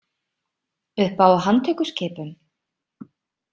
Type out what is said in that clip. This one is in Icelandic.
Upp á handtökuskipun?